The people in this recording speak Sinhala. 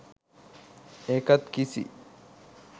ඒකත් කිසි